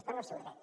està en el seu dret